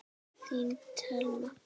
Þín Telma.